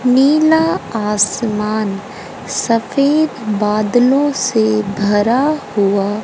नीला आसमान सफेद बादलो से भरा हुआ--